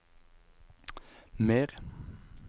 mer